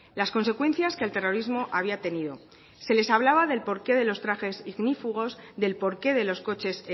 las consecuencias que el terrorismo había tenido se les hablaba del porqué de los trajes ignífugos del porqué de los coches